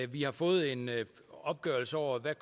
vi har fået en opgørelse over hvad